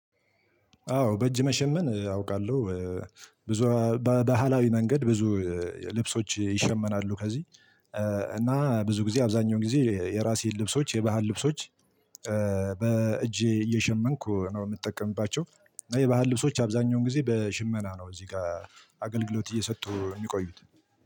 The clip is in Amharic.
አዎ በእጅ መሸመን አውቃለሁ። ብዙ በባህላዊ መንገድ ብዙ ልብሶች ይሸመናሉ። ከዚህ እና ብዙ ጊዜ አብዛኛውን ጊዜ የራሴን ልብሶች የባህል ልብሶች በእጄ እየሸመንኩ ነው የምጠቀምባቸው። እና የባህል ልብሶች አብዛኛውን ጊዜ በሽመና ነው እዚህ ጋር አገልግሎት እየሰጡ የሚቆዩት።